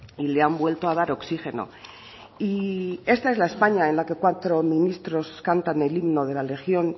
y le han vuelto a dar oxígeno y esta es la españa en la que cuatro ministros cantan el himno de la legión